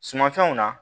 Sumanfɛnw na